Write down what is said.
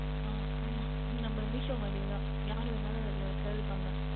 அஹ் ஆமாம் நம்ம Meesho மாதிரியே தான் யார் வேண்டுமென்றாலும் Sale பண்ணிக்கொள்ளலாம்